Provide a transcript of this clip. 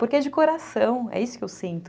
Porque é de coração, é isso que eu sinto.